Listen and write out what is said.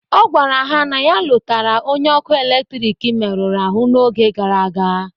Ọ gwara ha na ya lotara onye ọkụ eletrik meruru ahụ n'oge gara aga